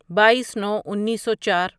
بایٔیس نو انیسو چار